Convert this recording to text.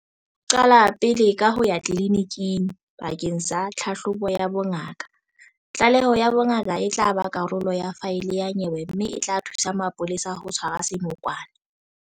Qala pele ka ho ya tleliniking bakeng sa tlhahlobo ya bongaka. Tlaleho ya bongaka e tla ba karolo ya faele ya nyewe mme e tla thusa mapolesa ho tshwara senokwane.